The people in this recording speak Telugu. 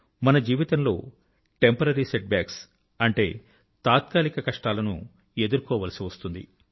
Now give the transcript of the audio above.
మన జీవితంలో టెంపరరీ సెట్ బ్యాక్స్ అంటే తాత్కాలిక కష్టాలను ఎదుర్కోవాల్సి వస్తుంది